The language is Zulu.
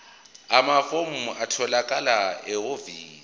amafomu atholakala ehhovisi